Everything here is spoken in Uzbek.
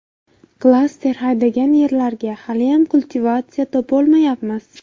Klaster haydagan yerlarga haliyam kultivatsiya topolmayapmiz.